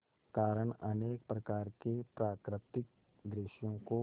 कारण अनेक प्रकार के प्राकृतिक दृश्यों को